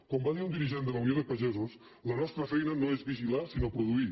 com va dir un dirigent de la unió de pagesos la nostra feina no és vigilar sinó produir